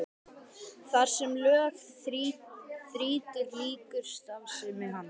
Þar sem lög þrýtur lýkur starfsemi hans.